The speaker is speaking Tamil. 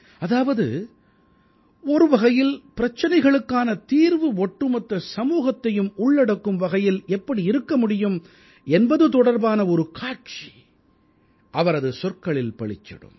அதாவது ஒருவகையில் பிரச்சனைகளுக்கான தீர்வு ஒட்டுமொத்த சமூகத்தையும் உள்ளடக்கும் வகையில் எப்படி இருக்க முடியும் என்பது தொடர்பான ஒரு காட்சி அவரது சொற்களில் பளிச்சிடும்